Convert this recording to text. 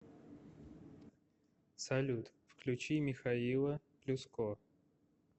салют включи михаила плюско